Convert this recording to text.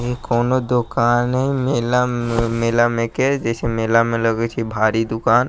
इ कउनो दुकाने मेला में मेला में के जे छय मेला में लगे छै भारी दूकान --